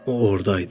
O ordaydı.